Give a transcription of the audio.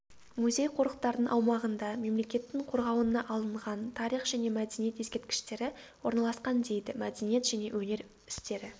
музей-қорықтардың аумағында мемлекеттің қорғауына алынған тарих және мәдениет ескерткіштері орналасқан дейді мәдениет және өнер істері